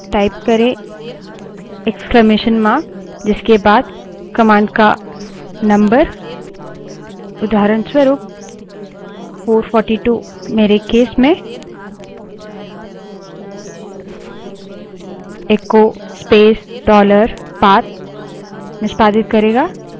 type करें विस्मयादिबोधक चिह्न इक्स्लामेशन mark जिसके बाद command का number उदाहरणस्वरूप 442 मेरे case में echo space dollar path निष्पादित करेगा